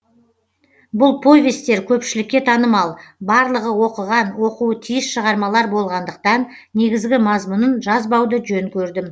бұл повесттер көпшілікке танымал барлығы оқыған оқуы тиіс шығармалар болғандықтан негізгі мазмұнын жазбауды жөн көрдім